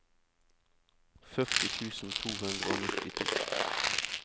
førti tusen to hundre og nittito